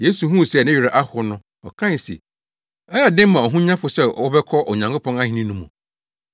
Yesu huu sɛ ne werɛ ahow no, ɔkae se, “Ɛyɛ den ma ahonyafo sɛ wɔbɛkɔ Onyankopɔn ahenni no mu!